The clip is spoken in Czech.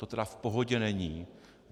To tedy v pohodě není.